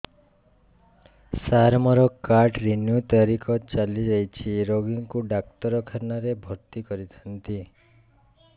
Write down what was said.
ସାର ମୋର card renew ତାରିଖ ଚାଲି ଯାଇଛି ରୋଗୀକୁ ଡାକ୍ତରଖାନା ରେ ଭର୍ତି କରିଥାନ୍ତି